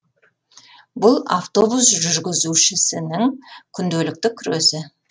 бұл автобус жүргізушісінің күнделікті күресі